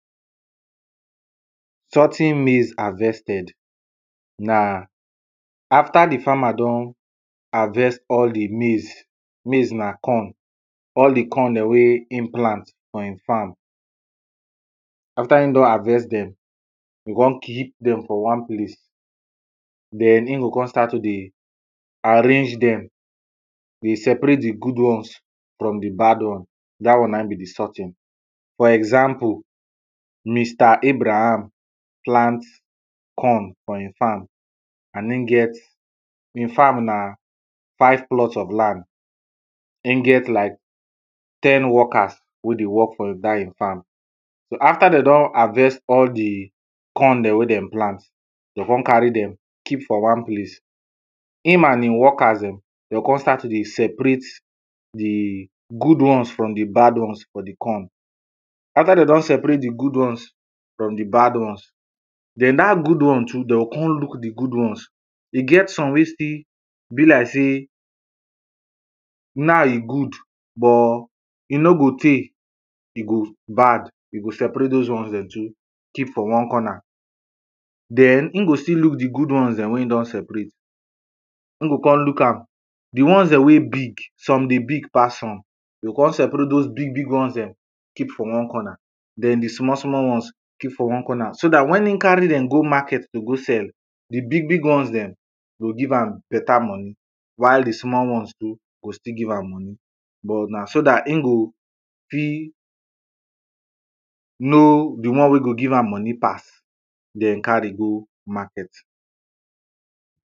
Sorting maize harvested. na after di farmer don harvest all di maize, maize na corn, all di corn dem wey im plant for im farm, after im don harvest dem e go come keep dem for one place. Den im go come start to dey arrange dem, dey separate di good ones from di bad ones dat one na im be di sorting. For example, Mr; Abraham plant corn for im farm and im get, im farm na five plots of land and e get like ten workers wey dey work for dat im farm. So after dem don harvest all di corn dem wen dem plant, dem go come carry dem keep for one place, im and im workers dem, dem go come start to dey separate di good ones from di bad ones for di corn. after dem don separate di good ones from di bad ones, den dat good ones too dem go come look di good ones, e get some wey still be like sey, na e good but e nor go tey, e go bad you go separate doz ones too, keep for one corner. Den im go still look di good ones dem wen e don separate, im go come look am, di ones dem wey big, some dey big pass some, im go come separate doz big big ones, keep for one corner, den di small small ones keep for one corner, so dat wen im carry dem go market to go sell, di big big ones dem go give am better money while di small small ones too go still give am but na so dat im go fit know di one dem wey go give am money pass den carry go market.